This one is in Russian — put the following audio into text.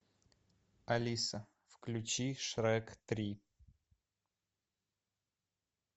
алиса включи шрек три